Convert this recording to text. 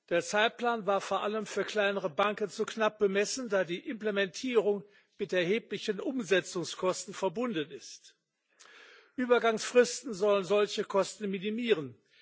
Der Zeitplan war vor allem für kleinere Banken zu knapp bemessen, da die Implementierung mit erheblichen Umsetzungskosten verbunden ist. Übergangsfristen sollen solche Kosten minimieren.